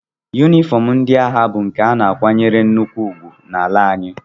Yunifọm ndị agha bụ nke a na-akwanyere nnukwu ugwu n'ala anyị